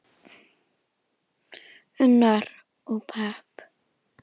Unnar: Og pepp.